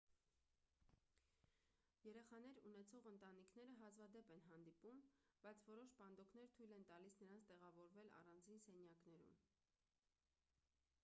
երեխաներ ունեցող ընտանիքները հազվադեպ են հանդիպում բայց որոշ պանդոկներ թույլ են տալիս նրանց տեղավորվել առանձին սենյակներում